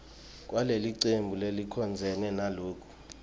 kwalelicembu lelicondzene naloku